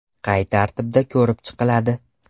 Qay tartibda ko‘rib chiqiladi?